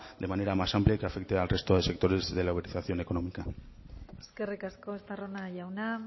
de manera más amplia y que afecte al resto de sectores de la uberización económica eskerrik asko estarrona jauna